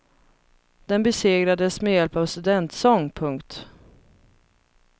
Den besegrades med hjälp av studentsång. punkt